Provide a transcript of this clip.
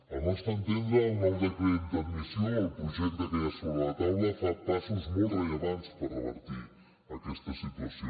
al nostre entendre el nou decret d’admissió el projecte que hi ha sobre la taula fa passos molt rellevants per revertir aquesta situació